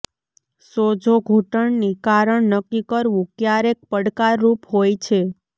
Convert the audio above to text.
સોજો ઘૂંટણની કારણ નક્કી કરવું ક્યારેક પડકારરૂપ હોય છે